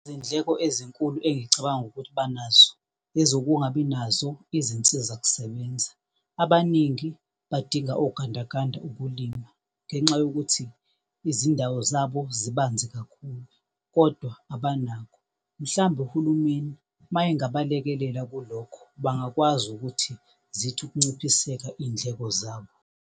Izindleko ezinkulu engicabanga ukuthi banazo ezokungabi nazo izinsizakusebenza. Abaningi badinga ogandaganda ukulima ngenxa yokuthi izindawo zabo zibanzi kakhulu, kodwa abanakho. Mhlambe uhulumeni mayengabalekelela kulokho bangakwazi ukuthi zithi ukunciphiseka iy'ndleko zabo.